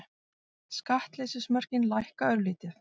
Skattleysismörkin lækka örlítið